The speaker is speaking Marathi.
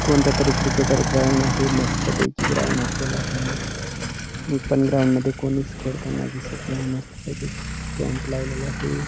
कोणतातरी क्रिकेटर ग्राउंड आहे मस्त पैकी नि पण ग्राउंड मध्ये कोणीच खेळताना दिसत नाही मस्त पैकी स्टॅम्प लवलेला आहे.